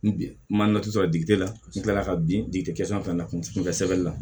N bi n ma tu sɔrɔ dikiteri n kilala ka bin kɛ san fila na kunfɛ sɛbɛn na